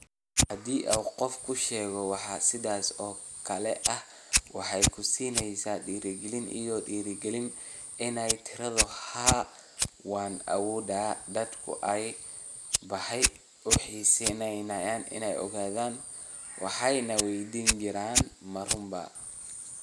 Haddii qof kuu sheego wax sidaas oo kale ah, waxay ku siinaysaa dhiirigelin iyo dhiirigelin inaad tiraahdo 'haa waan awoodaa! Dadku aad bay u xiisaynayeen inay ogaadaan - waxay na waydiin jireen, ma run baa?